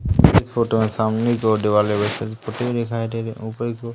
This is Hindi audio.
इस फोटो के सामने जो दीवार दिखाई दे रही ऊपर को--